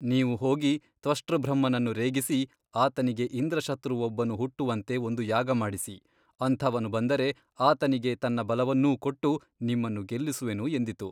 ನೀವು ಹೋಗಿ ತ್ವಷ್ಟೃಬ್ರಹ್ಮನನ್ನು ರೇಗಿಸಿ ಆತನಿಗೆ ಇಂದ್ರಶತ್ರುವೊಬ್ಬನು ಹುಟ್ಟುವಂತೆ ಒಂದು ಯಾಗ ಮಾಡಿಸಿ ಅಂಥವನು ಬಂದರೆ ಆತನಿಗೆ ತನ್ನ ಬಲವನ್ನೂ ಕೊಟ್ಟು ನಿಮ್ಮನ್ನು ಗೆಲ್ಲಿಸುವೆನು ಎಂದಿತು.